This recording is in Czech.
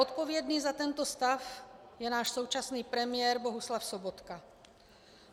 Odpovědný za tento stav je náš současný premiér Bohuslav Sobotka.